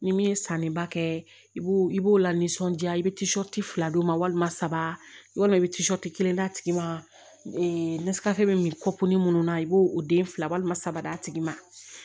Ni min ye sanni ba kɛ i b'o i b'o la nisɔndiya i bɛ fila d'u ma walima saba yɔrɔ i bɛ kelen d'a tigi ma bɛ min kɔ kunni minnu na i b'o o den fila saba d'a tigi ma